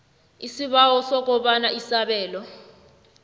isibawo sokobana isabelo